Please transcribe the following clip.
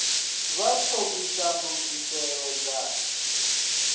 vha tsho ita ndugiselo dza